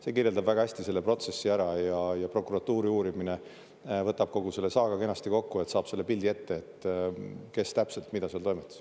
See kirjeldab väga hästi selle protsessi ära ja prokuratuuri uurimine võtab kogu selle saaga kenasti kokku, saab selle pildi ette, et kes täpselt mida seal toimetas.